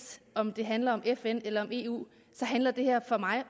om det handler om fn eller om eu så handler det her for mig og